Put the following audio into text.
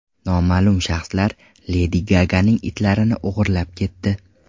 Noma’lum shaxslar Ledi Gaganing itlarini o‘g‘irlab ketdi.